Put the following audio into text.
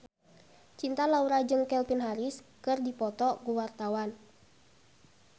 Cinta Laura jeung Calvin Harris keur dipoto ku wartawan